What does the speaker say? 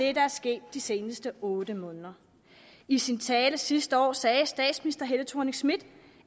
er sket de seneste otte måneder i sin tale sidste år sagde statsminister helle thorning schmidt